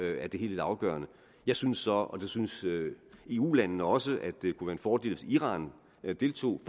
er det hele lidt afgørende jeg synes så og det synes eu landene også at det kunne være en fordel hvis iran deltog